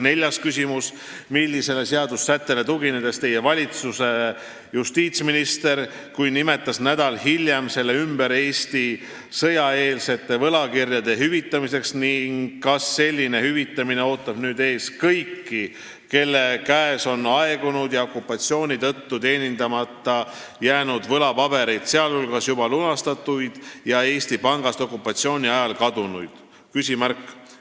" Neljas küsimus: "Millistele seadusesätetele tugines Teie valitsuse justiitsminister, kui nimetas nädal hiljem selle ümber Eesti sõjaeelsete võlakirjade hüvitamiseks ning kas selline hüvitamine ootab nüüd ees kõiki, kelle käes on aegunud ja okupatsiooni tõttu teenindamata jäänud võlapabereid, sealhulgas juba lunastatuid ja Eesti Pangast okupatsiooni ajal kadunuid?